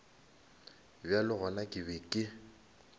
bjale gona ke be ke